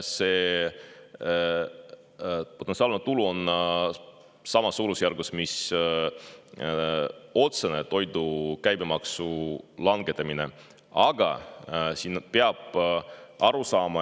See potentsiaalne tulu oleks samas suurusjärgus, kui toidu käibemaksu langetamise tõttu otseselt.